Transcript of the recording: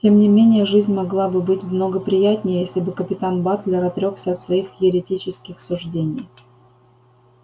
тем не менее жизнь могла бы быть много приятнее если бы капитан батлер отрёкся от своих еретических суждений